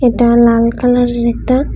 লাল কালারের একটা--